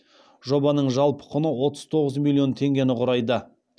жобаның жалпы құны отыз тоғыз миллион теңгені құрайды